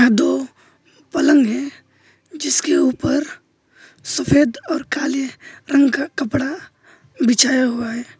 दो पलंग है जिसके ऊपर सफेद और काले रंग का कपड़ा बिछाया हुआ है।